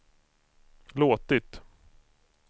låtit